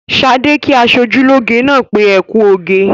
Ṣadé kí aṣojúlóge náà pé "ẹ kú oge".